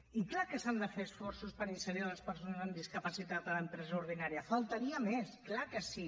i és clar que s’han de fer esforços per inserir les persones amb discapacitat a l’empresa ordinària només faltaria és clar que sí